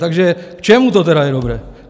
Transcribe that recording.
Takže k čemu to teda je dobré?